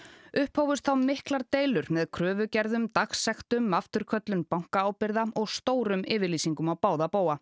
upphófust miklar deilur með kröfugerðum dagsektum afturköllun bankaábyrgða og stórum yfirlýsingum á báða bóga